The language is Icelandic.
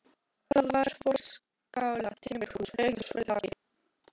Það var forskalað timburhús, rautt með svörtu þaki.